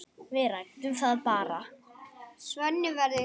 Við ræddum það bara.